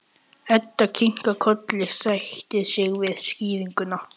Edda kinkar kolli, sættir sig við skýringuna.